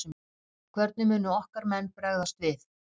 Hvernig munu okkar menn bregðast við?